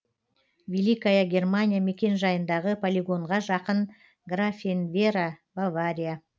великая германия мекенжайындағы полигонға жақын графенвера бавария